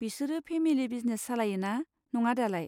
बिसोरो family business सालायोना, नङा दालाय?